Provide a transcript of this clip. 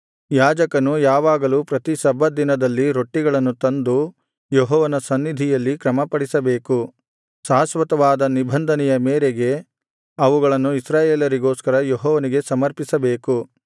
ಯಾಜಕನು ಯಾವಾಗಲೂ ಪ್ರತಿ ಸಬ್ಬತ್ ದಿನದಲ್ಲಿ ರೊಟ್ಟಿಗಳನ್ನು ತಂದು ಯೆಹೋವನ ಸನ್ನಿಧಿಯಲ್ಲಿ ಕ್ರಮಪಡಿಸಬೇಕು ಶಾಶ್ವತವಾದ ನಿಬಂಧನೆಯ ಮೇರೆಗೆ ಅವುಗಳನ್ನು ಇಸ್ರಾಯೇಲರಿಗೋಸ್ಕರ ಯೆಹೋವನಿಗೆ ಸಮರ್ಪಿಸಬೇಕು